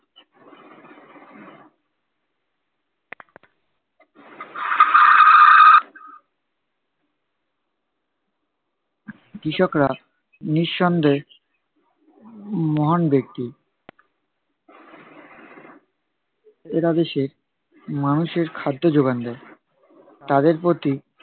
কৃষকরা নিঃসন্দেহে উহ মহান ব্যক্তি। এরা দেশের মানুষের খাদ্য যোগান দেয়। তাদের প্রতি